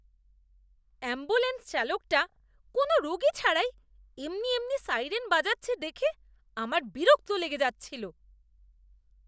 Ambulance চালকটা কোনও রোগী ছাড়াই এমনি এমনি সাইরেন বাজাচ্ছে দেখে আমার বিরক্ত লেগে যাচ্ছিল।